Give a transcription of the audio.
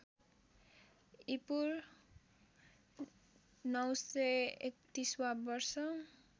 ईपू ९३१ वा वर्ष